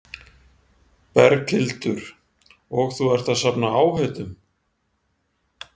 Berghildur: Og þú ert að safna áheitum?